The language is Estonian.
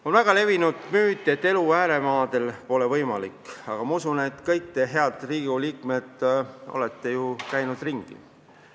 On väga levinud müüt, et elu ääremaadel pole võimalik, aga ma usun, et kõik te, head Riigikogu liikmed, olete ju Eestis ringi sõitnud.